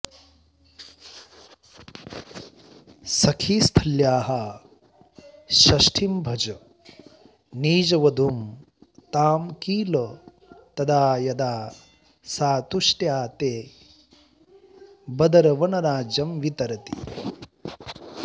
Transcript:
सखीस्थल्याः षष्ठीं भज निजवधूं तां किल तदा यथा सा तुष्ट्या ते बदरवनराज्यं वितरती